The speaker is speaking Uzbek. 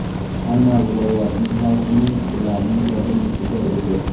Hamma viloyatning hokimi ularning kabinetida edi.